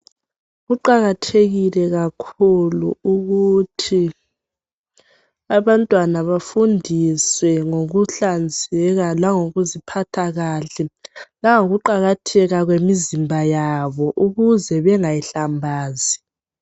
Kuqakathekile kakhulu ukuthi abantwana bafundiswe ngokuhlanzeka, langokuziphatha kahle langokuqakatheka kwemizimba yabo. Ukuze bengayihlambazi.